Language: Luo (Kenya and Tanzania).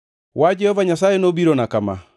Wach Jehova Nyasaye nobirona kama: